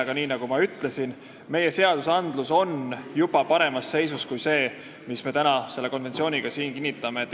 Aga nagu ma ütlesin, meie seadusandlus näeb juba ette paremat seisu kui see, mis me täna selle konventsiooniga kinnitame.